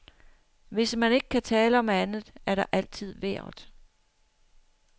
Hvis man ikke kan tale om andet, er der altid vejret.